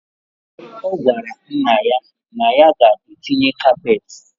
Ogwara nna ya na ya ga etinye kapet.